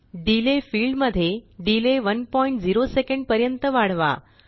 delay field मध्ये delay 10 SEC पर्यंत वाढवा